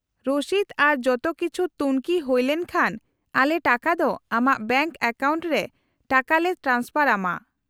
-ᱨᱚᱥᱤᱫ ᱟᱨ ᱡᱚᱛᱚ ᱠᱤᱪᱷᱩ ᱛᱩᱝᱠᱷᱤ ᱦᱩᱭᱞᱮᱱ ᱠᱷᱟᱱ ᱟᱞᱮ ᱴᱟᱠᱟ ᱫᱚ ᱟᱢᱟᱜ ᱵᱮᱝᱠ ᱮᱠᱟᱣᱩᱱᱴ ᱨᱮ ᱴᱟᱠᱟ ᱞᱮ ᱴᱨᱟᱱᱥᱯᱷᱟᱨ ᱟᱢᱟ ᱾